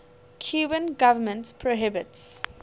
cuban government prohibits